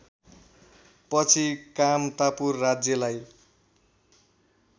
पछि कामतापुर राज्यलाई